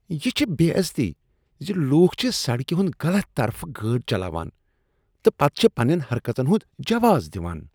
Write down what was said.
یہ چھ بے عزتی ز لوکھ چھ سڑکہ ہنٛد غلط طرفہٕ گٲڑ چلاوان تہٕ پتہٕ چھ پننین حرکژن ہنٛد جواز دِوان۔